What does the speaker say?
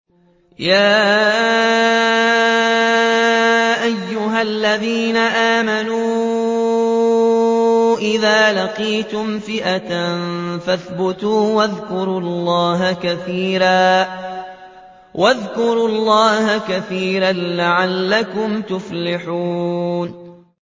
يَا أَيُّهَا الَّذِينَ آمَنُوا إِذَا لَقِيتُمْ فِئَةً فَاثْبُتُوا وَاذْكُرُوا اللَّهَ كَثِيرًا لَّعَلَّكُمْ تُفْلِحُونَ